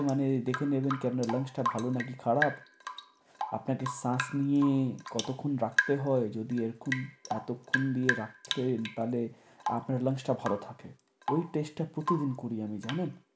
মানে দেখে নেবেন কে আপনার lungs টা ভালো নাকি খারাপ, আপনাকে শ্বাস নিয়ে কতক্ষণ রাখতে হয় যদি এরকম এতক্ষণ দিয়ে রাখতেন তাহলে আপনার lungs টা ভালো থাকে। ঐ test টা প্রতিদিন করি আমি জানেন?